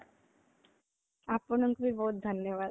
ଆପଣଙ୍କୁ ବି ବହୁତ ଧନ୍ୟବାଦ